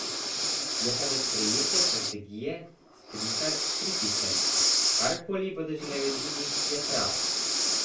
Je pa do sprejete strategije Stritar kritičen: 'Karkoli bodo že naredili, je prav.